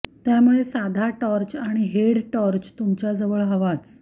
त्यामुळे साधा टॉर्च किंवा हेड टॉर्च तुमच्याजवळ हवाच